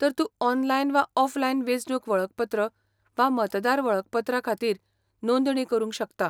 तर तूं ऑनलायन वा ऑफलायन वेंचणूक वळखपत्र वा मतदार वळखपत्रा खातीर नोंदणी करूंक शकता.